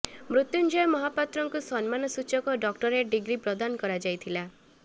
ମୃତ୍ୟୁଞ୍ଜୟ ମହାପାତ୍ରଙ୍କୁ ସମ୍ମାନ ସୂଚକ ଡକ୍ଟୋରେଟ୍ ଡିଗ୍ରୀ ପ୍ରଦାନ କରାଯାଇଥିଲା